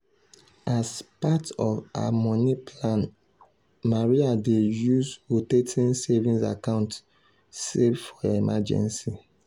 as part of her money plan maria dey use rotating savings account save for emergency.